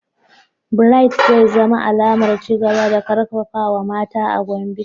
Bright zai zama alamar ci gaba da karfafawa mata a Gombe.